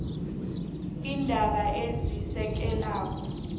nokugweba iindaba ezisekela